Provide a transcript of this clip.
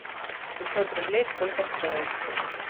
пятьсот рублей сколько стоит